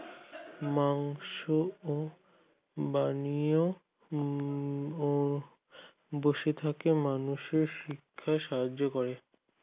মাংস ও বানিয়েও ও বসে থেকে মানুষের শিক্ষা সাহায্য করে